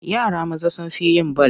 Yara maza sun fi yin bal.